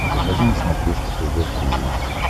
покажи на смотрешке тв три эйч ди